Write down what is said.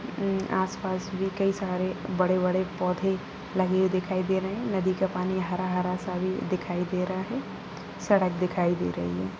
अं आस-पास भी कई सारे बड़े-बड़े पौधे लगे हुए दिखाई दे रहे हैं नदी का पानी हरा-हरा सा भी दिखाई दे रहा है सड़क दिखाई दे रही है।